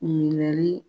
Minɛli